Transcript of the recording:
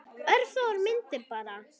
Örfáar myndir bara.